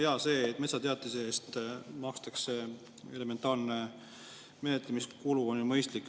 Jaa, see, et metsateatise eest makstakse elementaarne menetlemiskulu, on mõistlik.